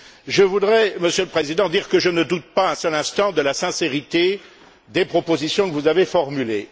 Je voudrais dire, Monsieur le Président, que je ne doute pas un seul instant de la sincérité des propositions que vous avez formulées.